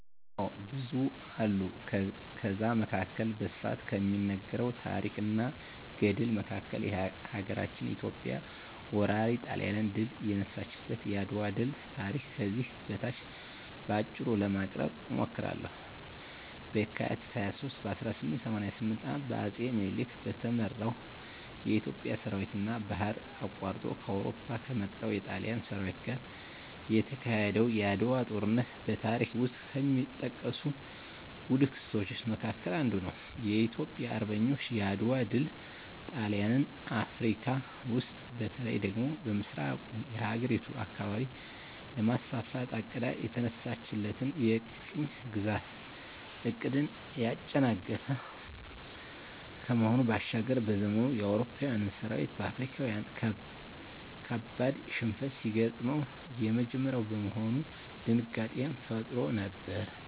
አዎ ብዙ አሉ ከዛ መካከል በስፋት ከሚነገረው ታረክ እና ገድል መካከል ሀገራችን ኢትዮጵያ ወራሪ ጣሊያንን ድል የነሳችበት የአድዋ ድል ታሪክ ከዚህ በታች በአጭሩ ለማቅረብ እሞክራለሁ፦ በካቲት 23 ቀን 1888 ዓ.ም በአጼ ምኒልክ በተመራው የኢትዮጵያ ሠራዊትና ባህር አቋርጦ ከአውሮፓ ከመጣው የጣሊያን ሠራዊት ጋር የተካሄደው የዓድዋው ጦርነት በታሪክ ውስጥ ከሚጠቀሱ ጉልህ ክስተቶች መካከል አንዱ ነው። የኢትዮጵያ አርበኞች የዓድዋ ድል ጣሊያን አፍረካ ውስጥ በተለይ ደግሞ በምሥራቁ የአህጉሪቱ አካባቢ ለማስፋፋት አቅዳ የተነሳችለትን የቅኝ ግዛት ዕቅድን ያጨናገፈ ከመሆኑ ባሻገር፤ በዘመኑ የአውሮፓዊያን ሠራዊት በአፍሪካዊያን ካበድ ሽንፈት ሲገጥመው የመጀመሪያ በመሆኑ ድንጋጤንም ፈጥሮ ነበር።